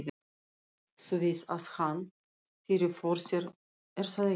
Þú veist að hann. fyrirfór sér, er það ekki?